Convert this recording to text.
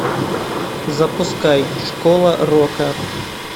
запускай школа рока